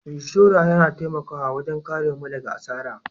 Inshora yana taimakawa wajen karemu daga asara.